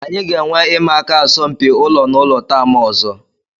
Anyị ga-enwe ịma aka asọmpi ụlọ na ụlọ taam ọzọ